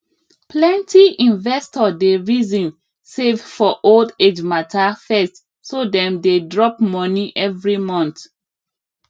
plenty investor dey reason save for old age matter first so dem dey drop money every month